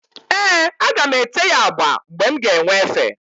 Ee, aga m ete ya agba mgbe m ga-enwe efe.